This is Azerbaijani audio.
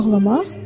Bağlamaq?